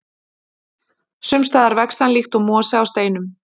Sums staðar vex hann líkt og mosi á steinum.